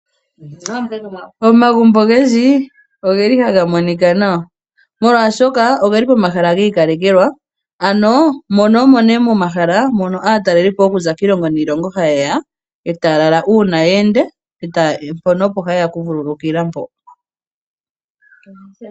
Omagumbo ogendji ogeli haga monikwa nawa, moolwashoka ogeli pomahala giikalekelwa ano mono omo nee momahala moka aatalelipo okuza kiilongo niilongo hayeya eta ya lala uuna ya enda, mpono opo haye ya okuvululukilwa.